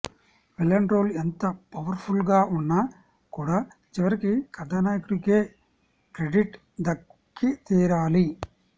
villain role ఎంత powerful గా ఉన్నా కూడా చివరికి కథానాయకుడికే క్రెడి దక్కి తీరాలి